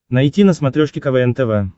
найти на смотрешке квн тв